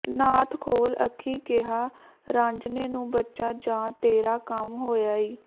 ਨਾਥ ਖੋਲ ਅੱਖੀਂ ਕਿਹਾ ਰਾਂਝਣੇ ਨੂੰ ਬੱਚਾ ਜਾ ਤੇਰਾ ਕੰਮ ਹੋਇਆ ਈ